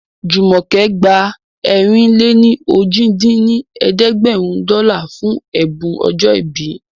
Jùmọ̀kẹ́ gba ẹ̀rin-lé-ní-ojì dín ní ẹ̀ẹ́dẹ́gbẹ́rún dọ́là fún ẹ̀bùn ọjọ́ ìbí